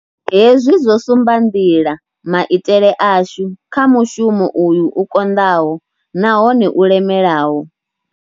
Hezwi zwo sumba nḓila maitele ashu kha mushumo uyu u konḓaho nahone u lemelaho.